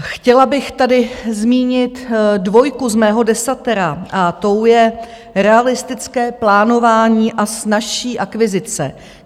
Chtěla bych tady zmínit dvojku z mého desatera a tou je realistické plánování a snazší akvizice.